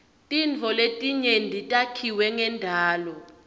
tintfo letinyenti takhiwe ngendalo